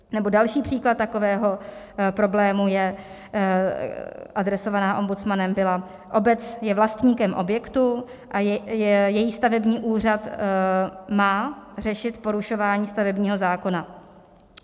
Nebo další příklad takového problému je... adresovaná ombudsmanem byla: Obec je vlastníkem objektu a její stavební úřad má řešit porušování stavebního zákona.